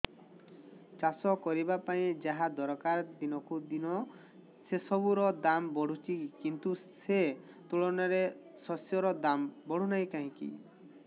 ଚାଷ କରିବା ପାଇଁ ଯାହା ଦରକାର ଦିନକୁ ଦିନ ସେସବୁ ର ଦାମ୍ ବଢୁଛି କିନ୍ତୁ ସେ ତୁଳନାରେ ଶସ୍ୟର ଦାମ୍ ବଢୁନାହିଁ କାହିଁକି